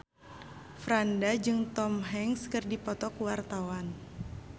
Franda jeung Tom Hanks keur dipoto ku wartawan